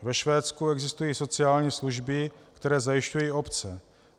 Ve Švédsku existují sociální služby, které zajišťují obce.